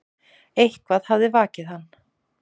Eitthvað hafði vakið hann.